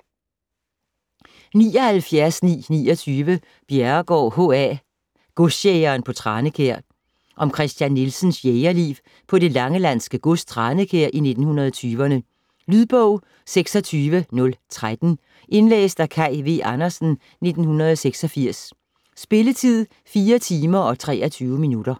79.929 Bjerregaard, H. A.: Godsjægeren på Tranekjær Om Christian Nielsens jægerliv på det langelandske gods Tranekjær i 1920'erne. Lydbog 26013 Indlæst af Kaj V. Andersen, 1986. Spilletid: 4 timer, 23 minutter.